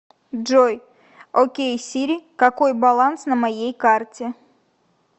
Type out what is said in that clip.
джой окей сири какой баланс на моей карте